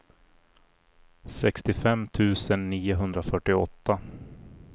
sextiofem tusen niohundrafyrtioåtta